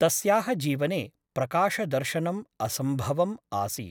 तस्याः जीवने प्रकाशदर्शनम् असम्भवम् आसीत् ।